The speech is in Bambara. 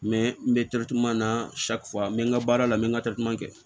n bɛ na n bɛ n ka baara la n bɛ n ka kɛ